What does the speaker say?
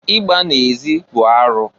Igba na-ezi bụ arụ.